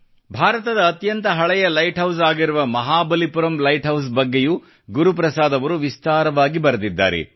ಭಾರತದ ಅತ್ಯಂತ ಹಳೆಯ ಲೈಟ್ ಹೌಸ್ ಆಗಿರುವ ಮಹಾಬಲಿಪುರಂ ಲೈಟ್ ಹೌಸ್ ಬಗ್ಗೆಯೂ ಗುರುಪ್ರಸಾದ್ ಅವರು ವಿಸ್ತಾರವಾಗಿ ಬರೆದಿದ್ದಾರೆ